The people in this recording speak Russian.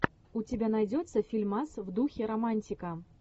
у тебя найдется фильмас в духе романтика